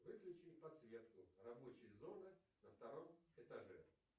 выключи подсветку рабочей зоны на втором этаже